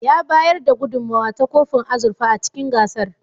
Ya bayar da gudunmowa ta kofin azurfa a cikin gasar.